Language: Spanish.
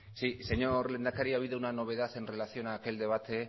sí señor lehendakari ha habido una novedad en relación a aquel debate